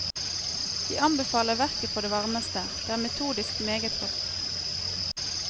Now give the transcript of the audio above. Jeg anbefaler verket på det varmeste, det er metodisk meget godt.